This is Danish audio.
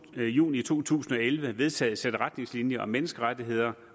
i juni to tusind og elleve vedtaget et sæt retningslinjer om menneskerettigheder